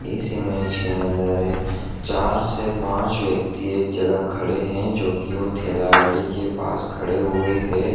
इस इमेज के अंदर चार से पांच व्यक्ति एक जगह खड़े हैंजो की वह ठेला गाड़ी के पास खड़े हुए है।